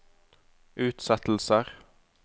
utsettelser